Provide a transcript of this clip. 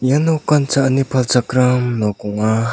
ia nokan cha·ani palchakram nok ong·a.